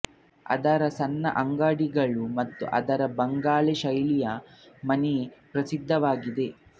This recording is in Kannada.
ಅದರ ಸಣ್ಣ ಅಂಗಡಿಗಳು ಮತ್ತು ಅದರ ಬಂಗಲೆ ಶೈಲಿಯ ಮನೆ ಪ್ರಸಿದ್ಧವಾಗಿದೆ